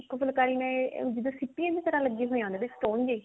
ਉਹ ਫੁਲਕਾਰੀ ਮੈਂ ਜਿਦਾਂ ਸਿਪੀਆਂ ਦੀ ਤਰਾਂ ਲੱਗੀਆਂ ਹੋਈਆਂ ਉਹਨਾ ਦੇ stone ਜੇ